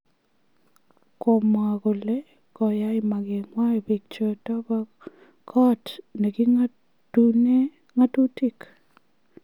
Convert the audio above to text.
Komwa kole koyai makenywan biik choton bo kot neking'atunen ng'atutik